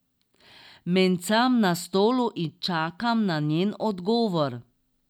Mencam na stolu in čakam na njen odgovor.